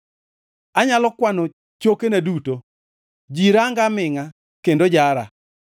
Anyalo kwano chokena duto; ji ranga amingʼa kendo jara.